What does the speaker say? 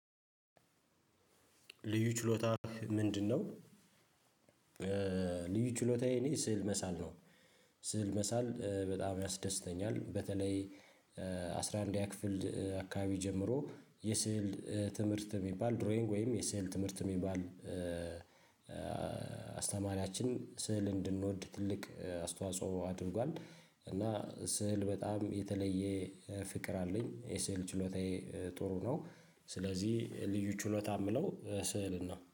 ልዩ ችሎታ ምንድነው? ልዩ ችሎታዬ እኔ ስዕል መሳል ነው። ስዕል መሳል በጣም ያስደስተኛል በተለይ አስራ አንድኛ ክፍል አካባቢ ጀምሮ የሰዕል ትምህርት የሚባል ድሮይንግ ወይም የስዕ ትምህርት የሚባል። አስተማሪያችን ስዕል እንድንወድ ትልቅ አስተዋጽኦ አድርጓል እና ስዕል በጣም የተለየ ፍቅር አለኝ የስዕል ችሎታዬ ጥሩ ነው። ስለዚህ ልዩ ችሎታ የምለው ስዕልን ነው